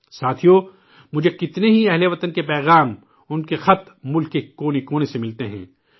ساتھیوں، مجھے کتنے ہی ہم وطنوں کے پیغامات ، انکے خطوط، ملک کے گوشے گوشے سے ملتے ہیں